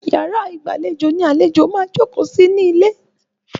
Yàrá ìgbàlejò ní ibi tí àlejò máa ń jókòó sí ní ilé.